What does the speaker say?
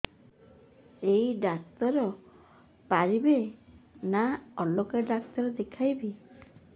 ଏଇ ଡ଼ାକ୍ତର ପାରିବେ ନା ଅଲଗା ଡ଼ାକ୍ତର ଦେଖେଇବି